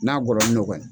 N'a gɔlɔni dɔ ye